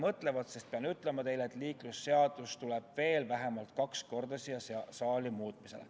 Ma pean ütlema teile, et liiklusseadus tuleb veel vähemalt kahel korral siia saali muutmisele.